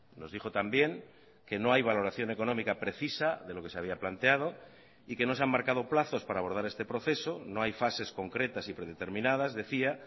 nos dijo también que no hay valoración económica precisa de lo que se había planteado y que no se han marcado plazos para abordar este proceso no hay fases concretas y predeterminadas decía